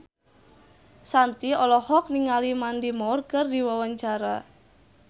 Shanti olohok ningali Mandy Moore keur diwawancara